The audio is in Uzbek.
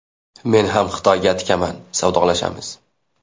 Men ham Xitoyga tikaman, savdolashamiz.